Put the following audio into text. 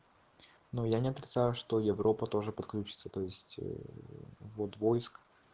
ну я не отрицаю что европа тоже подключиться то есть войск